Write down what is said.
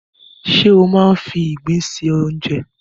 Ṣé ó máa ń fi ìgbín se oúnjẹ?